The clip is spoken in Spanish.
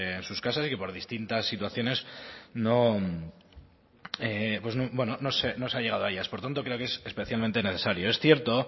en sus casas y que por distintas situaciones no se ha llegado a ellas por tanto creo que es especialmente necesario es cierto